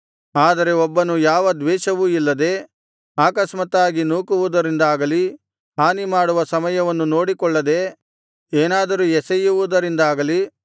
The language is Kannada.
ಆದರೆ ಒಬ್ಬನು ಯಾವ ದ್ವೇಷವೂ ಇಲ್ಲದೆ ಆಕಸ್ಮಾತ್ತಾಗಿ ನೂಕುವುದರಿಂದಾಗಲಿ ಹಾನಿಮಾಡುವ ಸಮಯವನ್ನು ನೋಡಿಕೊಳ್ಳದೆ ಏನಾದರೂ ಎಸೆಯುವುದರಿಂದಾಗಲಿ